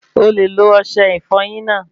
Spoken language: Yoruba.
O le lo ọsẹ ìfọyín náà